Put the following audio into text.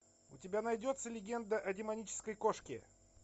у тебя найдется легенда о демонической кошке